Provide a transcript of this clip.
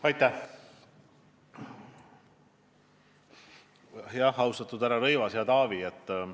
Aitäh, austatud härra Rõivas, hea Taavi!